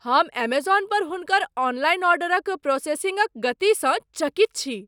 हम एमेजॉन पर हुनकर ऑनलाइन ऑर्डरक प्रोसेसिंगक गतिसँ चकित छी।